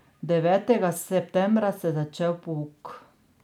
Devetega septembra se je začel pouk.